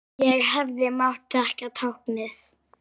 Ég hefði mátt þekkja táknið.